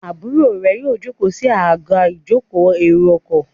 Àbúrò rẹ yíò joko sí Àga ìjókòó èrò ọkọ̀.